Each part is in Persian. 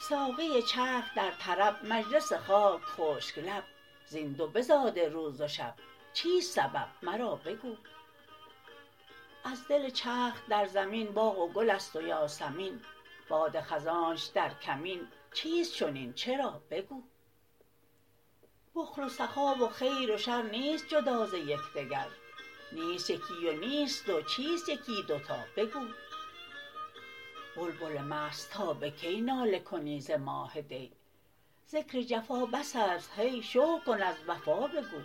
ساقی چرخ در طرب مجلس خاک خشک لب زین دو بزاده روز و شب چیست سبب مرا بگو از دل چرخ در زمین باغ و گل است و یاسمین باد خزانش در کمین چیست چنین چرا بگو بخل و سخا و خیر و شر نیست جدا ز یک دگر نیست یکی و نیست دو چیست یکی دو تا بگو بلبل مست تا به کی ناله کنی ز ماه دی ذکر جفا بس است هی شکر کن از وفا بگو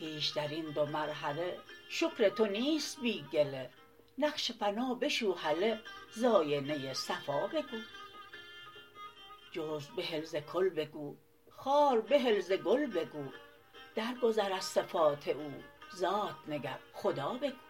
هیچ در این دو مرحله شکر تو نیست بی گله نقش فنا بشو هله ز آینه صفا بگو جزو بهل ز کل بگو خار بهل ز گل بگو درگذر از صفات او ذات نگر خدا بگو